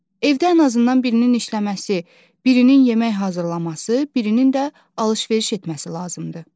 Evdə ən azından birinin işləməsi, birinin yemək hazırlaması, birinin də alış-veriş etməsi lazımdır.